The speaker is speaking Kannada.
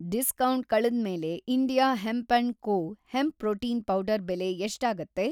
ಡಿಸ್ಕೌಂಟ್‌ ಕಳೆದ್ಮೇಲೆ India hemp and co. Hemp protein powder ಬೆಲೆ ಎಷ್ಟಾಗತ್ತೆ?